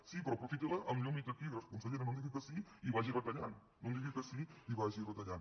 sí però aprofitila amb llum i taquígrafs consellera no em digui que sí i vagi retallant no em digui que sí i vagi retallant